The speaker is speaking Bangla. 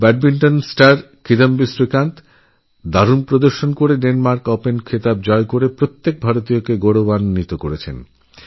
ব্যাডমিন্টন স্টার কিদাম্বি শ্রীকান্ত অসাধারণ খেলেডেনমার্ক ওপেন জয় করেছেন এবং প্রত্যেক ভারতবাসীকে গৌরবান্বিত করেছেন